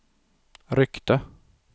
ryckte